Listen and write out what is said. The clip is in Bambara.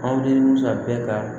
Aw ni musa bɛɛ ka